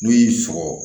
N'u y'i sɔgɔ